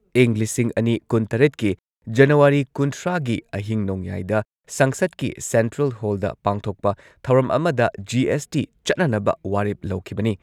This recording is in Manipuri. ꯏꯪ ꯂꯤꯁꯤꯡ ꯑꯅꯤ ꯀꯨꯟꯇꯔꯦꯠꯀꯤ ꯖꯅꯋꯥꯔꯤ ꯀꯨꯟꯊ꯭ꯔꯥꯒꯤ ꯑꯍꯤꯡ ꯅꯣꯡꯌꯥꯏꯗ ꯁꯪꯁꯗꯀꯤ ꯁꯦꯟꯇ꯭ꯔꯦꯜ ꯍꯣꯜꯗ ꯄꯥꯡꯊꯣꯛꯄ ꯊꯧꯔꯝ ꯑꯃꯗ ꯖꯤ.ꯑꯦꯁ.ꯇꯤ ꯆꯠꯅꯅꯕ ꯋꯥꯔꯦꯞ ꯂꯧꯈꯤꯕꯅꯤ꯫